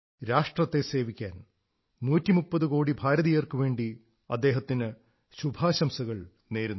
രാഷ്ട്രത്തെ സേവിക്കാൻ 130 കോടി ഭാരതീയർക്കുവേണ്ടി അദ്ദേഹത്തിന് ശുഭാശംസകൾ നേരുന്നു